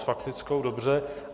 S faktickou, dobře.